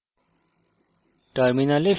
save icon টিপুন